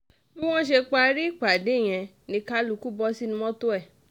bí wọ́n ṣe parí ìpàdé yẹn ni kálukú bọ́ sínú mọ́tò ẹ̀